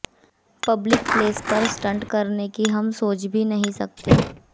public place पर stunt करने की हम सोच भी नहीं सकते